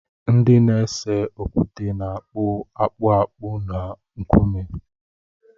Ndị na-ese okwute na-akpụ akpụ akpụ na nkume.